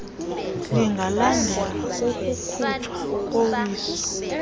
lingalandelwa kukukhutshwa kowiso